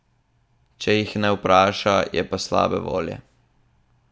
Če jih ne vpraša, je pa slabe volje.